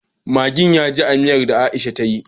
Maggin yaji a miyar da aisha take yi